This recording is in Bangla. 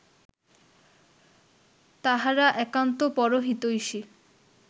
তাঁহারা একান্ত পরহিতৈষী